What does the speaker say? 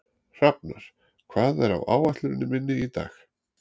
Hrafnar, hvað er á áætluninni minni í dag?